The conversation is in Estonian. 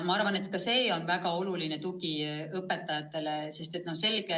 Ma arvan, et ka see on väga oluline tugi õpetajatele.